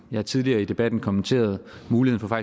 har tidligere i debatten kommenteret muligheden for